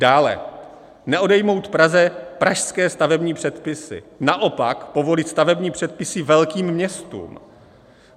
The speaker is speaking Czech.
Dále - neodejmout Praze pražské stavební předpisy, naopak povolit stavební předpisy velkým městům.